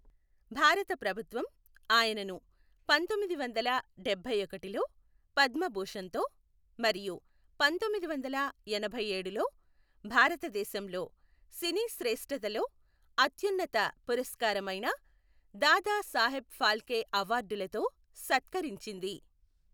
భారత ప్రభుత్వం ఆయనను పంతొమ్మిది వందల డబ్బైఒకటిలో పద్మభూషణ్తో మరియు పంతొమ్మిది వందల ఎనభై ఏడులో భారతదేశంలో సినీ శ్రేష్ఠతలో అత్యున్నత పురస్కారమైన దాదా సాహెబ్ ఫాల్కే అవార్డులతో సత్కరించింది.